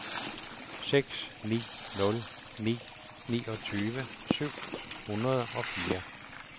seks ni nul ni niogtyve syv hundrede og fire